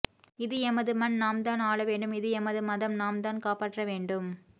இது எமது மண் நாம் தான் ஆளவேண்டும் இது எமது மதம் நாம் தான் காப்பாற்ற வேண்டும்